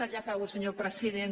ja acabo senyor president